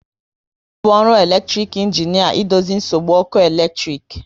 Ọ bụ ọrụ elektic injinia idozi nsogbu ọkụ eletrik